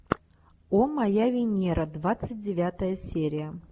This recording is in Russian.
о моя венера двадцать девятая серия